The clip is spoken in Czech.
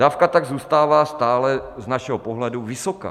Dávka tak zůstává stále z našeho pohledu vysoká.